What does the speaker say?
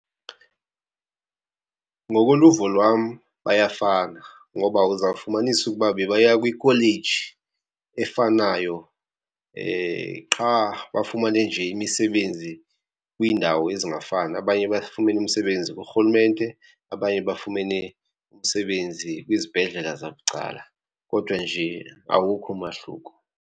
Ngokoluvo lwam bayafana ngoba uzawufumanisa ukuba bebaya kwikholeji efanayo qha bafumane nje imisebenzi kwiindawo ezingafani. Abanye bafumene umsebenzi kurhulumente, abanye bafumene umsebenzi kwizibhedlela zabucala, kodwa nje awukho umahluko.